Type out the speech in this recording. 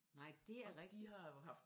Nej det er rigtigt